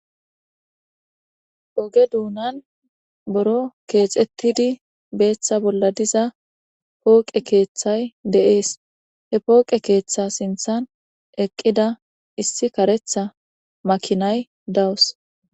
oge duunan boro keexettidi beeththa bolla diza pooqe keeththay de7ees he pooqe keeththa sinthan eqqida issi karetha makinay dawus